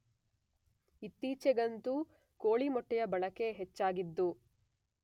ಇತ್ತೀಚೆಗಂತೂ ಕೋಳಿ ಮೊಟ್ಟೆಯ ಬಳಕೆ ಹೆಚ್ಚಾಗಿದ್ದು